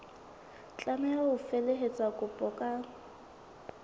tlameha ho felehetsa kopo ka